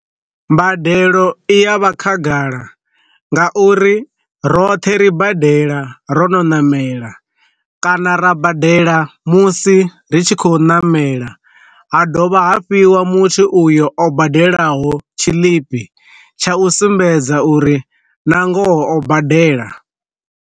Mbadelo iya vha khagala nga uri roṱhe ri badela ro no namela kana ra badela musi ri tshi khou namela, ha dovha ha fhiwa muthu uyo o badelaho tshiḽipi tsha u sumbedza uri na ngoho o badela.